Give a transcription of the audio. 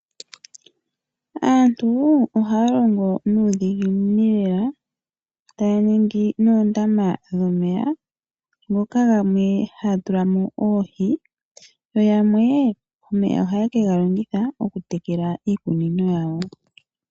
Aantu ohaya longo nuudhiginini lela taya ningi noondama dhomeya ndhoka yamwe ha ya tula mo oohi yo yamwe omeya ohaye kega longitha okutekela iikunino yawo.